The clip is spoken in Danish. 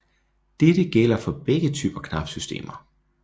Dette gælder for begge typer knapsystemer